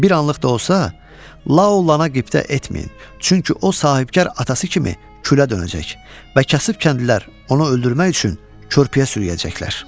Bir anlıq da olsa, Lao lana qibdə etməyin, çünki o sahibkar atası kimi külə dönəcək və kəsib kəndlilər onu öldürmək üçün körpüyə sürüyəcəklər.